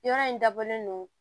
Yɔrɔ in dabɔlen don